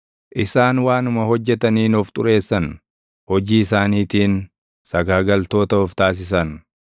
Isaan waanuma hojjetaniin of xureessan; hojii isaaniitiin sagaagaltoota of taasisan.